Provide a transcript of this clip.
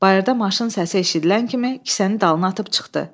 Bayırda maşın səsi eşidilən kimi kisəni dalına atıb çıxdı.